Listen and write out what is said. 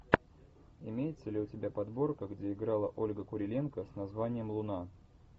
имеется ли у тебя подборка где играла ольга куриленко с названием луна